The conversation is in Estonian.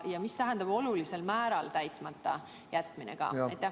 Ja mis tähendab olulisel määral täitmata jätmine?